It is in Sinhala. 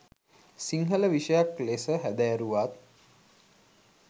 සිංහල විෂයයක් ලෙස හැදෑරුවත්